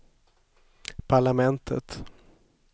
parlamentet